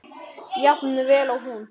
Jafn vel og hún?